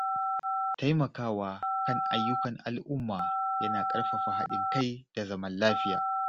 Taimakawa kan ayyukan al’umma yana ƙarfafa haɗin kai da zaman lafiya.